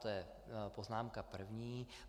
To je poznámka první.